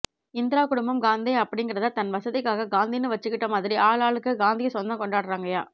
இந்திரா குடும்பம் காந்தே அப்டிங்கறத தன் வசதிக்காக காந்தின்னு வச்சுக்கிட்ட மாதிரி ஆளாளுக்கு காந்திய சொந்தம் கொண்டாடுறாங்கையா